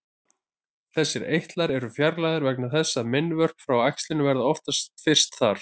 Þessir eitlar eru fjarlægðir vegna þess að meinvörp frá æxlinu verða oftast fyrst þar.